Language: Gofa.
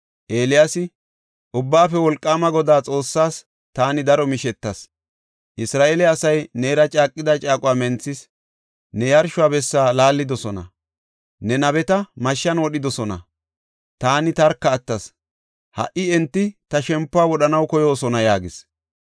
Eeliyaasi, “Ubbaafe Wolqaama Godaa Xoossaas taani daro mishetas. Isra7eele asay neera caaqida caaquwa menthis; ne yarsho bessa laallidosona; ne nabeta mashshan wodhidosona. Taani tarka attas; ha77i enti ta shempuwa wodhanaw koyoosona” yaagis.